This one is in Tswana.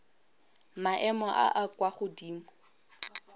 maemo a a kwa godimo